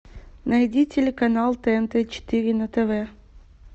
найди телеканал тнт четыре на тв